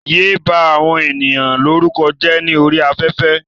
Yéé bá àwọn ènìyàn lórúkọ jẹ́ ní orí afẹ́fẹ́.